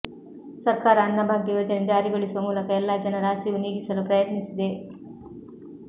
ಸರ್ಕಾರ ಅನ್ನಭಾಗ್ಯ ಯೋಜನೆ ಜಾರಿಗೊಳಿಸುವ ಮೂಲಕ ಎಲ್ಲಾ ಜನರ ಹಸಿವು ನೀಗಿಸಲು ಪ್ರಯತ್ನಿಸಿದೆ